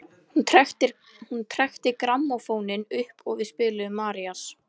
Hún trekkti grammófóninn upp og við spiluðum Marías.